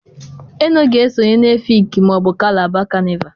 ENO ga-esonye na Efikii/Kalaba kanịval.